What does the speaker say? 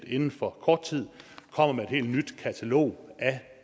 inden for kort tid kommer med et helt nyt katalog af